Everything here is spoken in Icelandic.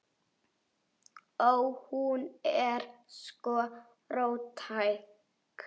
Ó. Hún er sko róttæk.